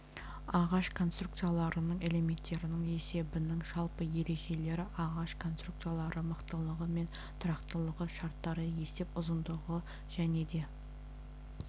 ағаш конструкцияларының элементтерінің есебінің жалпы ережелері ағаш конструкциялары мықтылығы мен тұрақтылығы шарттары есеп ұзындығы және де